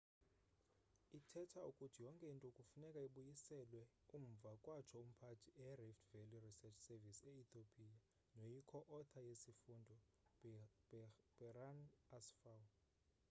ithetha ukuthi yonke into kufuneka ibuyiselwe umva kwatsho umphandi e-rift valley research service e-ethiopia noyi co-author yesifundo berhane asfaw